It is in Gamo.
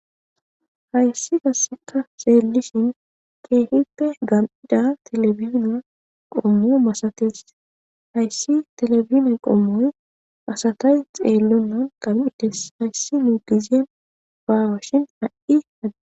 Hayssi gasseka xeellishin keehippe gamdaa telebina qommo masates hayssi telebina qommoy masatay xeellonan qal7ides hayssi nuu gizyen baawashin ha'i hadi..